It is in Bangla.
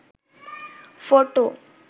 ফটো